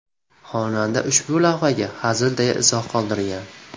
Xonanda ushbu lavhaga hazil deya izoh qoldirgan.